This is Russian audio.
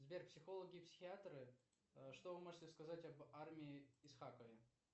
сбер психологи и психиаторы что вы можете сказать об арми исхакове